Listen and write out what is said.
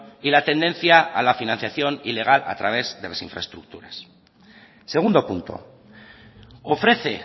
y la tendencia a la financiación ilegal a través de las infraestructuras segundo punto ofrece